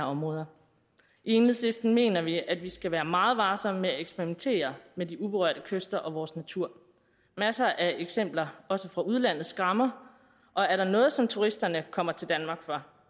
områder i enhedslisten mener vi at vi skal være meget varsomme med at eksperimentere med de uberørte kyster og vores natur masser af eksempler også fra udlandet skræmmer og er der noget som turisterne kommer til danmark for